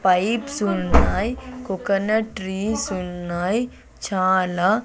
pipes ఉన్నాయ్ coconut trees ఉన్నాయ్ చాలా--